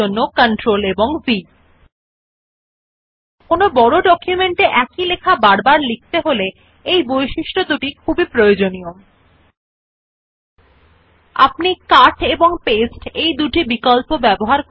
এই বৈশিষ্ট্যগুলি খুবই দরকারী যখন একটি অনুরূপ লেখা বড় নথি পরিমাণ যেখানে আপনি বারবার সম্পূর্ণ টেক্সট লিখতে হবে না লেখা This feature is very useful while writing a large amount of similar text in documents where you don't need to write the entire text repeatedly